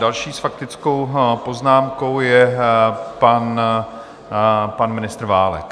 Další s faktickou poznámkou je pan ministr Válek.